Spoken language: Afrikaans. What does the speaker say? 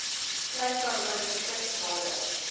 klein karoo distriksrade